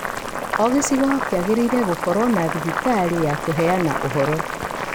o gĩacigo kĩagĩrĩĩre gũkorwo na thibitarĩ ya kũheayana ũhoro.